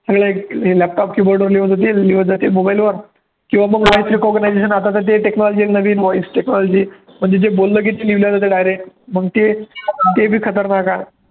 सगळे laptop keyboard वर लिहीत जातील लिहीत जातील mobile वर किंवा मग voice recognition आता तर ते technology आहे नवीन voice technology म्हणजे जे बोललं की ते लिहलं जातं direct मग ते ते बी खतरनाक आहे.